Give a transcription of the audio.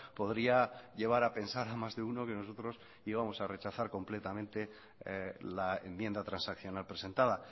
podría llevar a pensar a más de uno que nosotros íbamos a rechazar completamente la enmienda transaccional presentada